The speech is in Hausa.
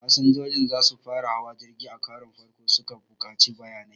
Fasinjoji da za su fara hawa jirgi a karon farko sukan buƙaci bayanai